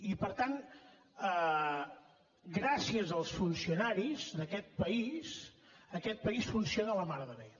i per tant gràcies als funcionaris d’aquest país aquest país funciona la mar de bé